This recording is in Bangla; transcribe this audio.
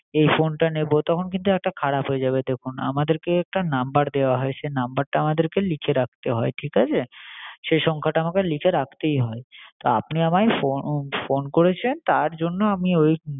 এই phone টা নেবো তখন কিন্তু একটা খারাপ হয়ে যাবে, দেখুন আমাদের কে একটা number দেওয়া হয়, সে number টা আমাদের লিখে রাখতে হয় ঠিক আছে সে সংখ্যাটা আমাকে লিখে রাখতেই হয়, তা আপনি আমায় phone করেছেন তার জন্য আমি ওই